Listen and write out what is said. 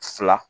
Fila